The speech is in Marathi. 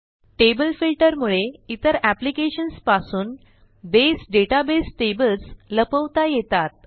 टेबल फिल्टर मुळे इतर एप्लिकेशन्स पासून बसे डेटाबेस टेबल्स लपवता येतात